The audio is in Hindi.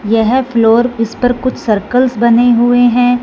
यह फ्लोर इस पर कुछ सर्कल्स बने हुए हैं।